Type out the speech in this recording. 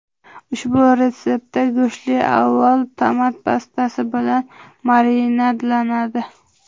Ushbu retseptda go‘sht avval tomat pastasi bilan marinadlanadi.